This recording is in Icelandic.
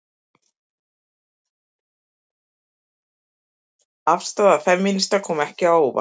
Afstaða femínista kom ekki á óvart